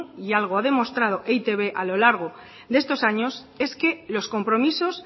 y algo ha demostrado e i te be a lo largo de estos años es que los compromisos